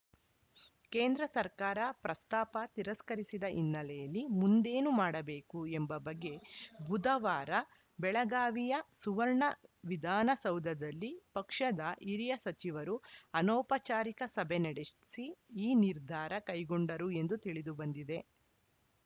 ಕೇಂದ್ರ ಸರ್ಕಾರ ಪ್ರಸ್ತಾಪ ತಿರಸ್ಕರಿಸಿದ ಹಿನ್ನೆಲೆಯಲ್ಲಿ ಮುಂದೇನು ಮಾಡಬೇಕು ಎಂಬ ಬಗ್ಗೆ ಬುಧವಾರ ಬೆಳಗಾವಿಯ ಸುವರ್ಣ ವಿಧಾನಸೌಧದಲ್ಲಿ ಪಕ್ಷದ ಹಿರಿಯ ಸಚಿವರು ಅನೌಪಚಾರಿಕ ಸಭೆ ನಡೆಸಿ ಈ ನಿರ್ಧಾರ ಕೈಗೊಂಡರು ಎಂದು ತಿಳಿದು ಬಂದಿದೆ